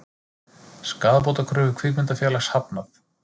Skaðabótakröfu kvikmyndafélags hafnað